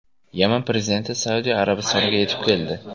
Yaman prezidenti Saudiya Arabistoniga yetib keldi.